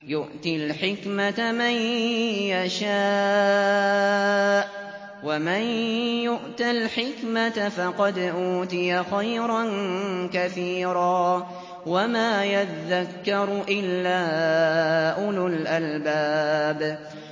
يُؤْتِي الْحِكْمَةَ مَن يَشَاءُ ۚ وَمَن يُؤْتَ الْحِكْمَةَ فَقَدْ أُوتِيَ خَيْرًا كَثِيرًا ۗ وَمَا يَذَّكَّرُ إِلَّا أُولُو الْأَلْبَابِ